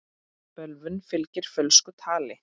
Bölvun fylgir fölsku tali.